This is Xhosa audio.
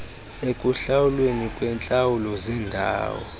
ekuhlawulweni kweentlawulo zendawo